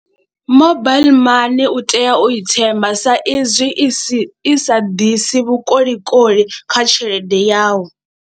Mobile money u tea u i themba sa izwi isi isa ḓisi vhukolikoli kha tshelede yau.